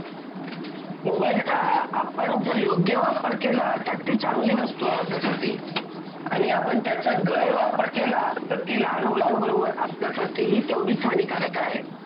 mobile चा आपण जर योग्य वापर केला तर ती चांगली गोष्ट आहे ती आपल्यासाठी आणि आपण त्याचा गैरवापर केला तर ती लहान मुलांबरोबर आपल्या साठीही तेवढीच हानिकारक आहे